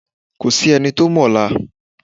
Ko sí ẹni tí o mo ọlá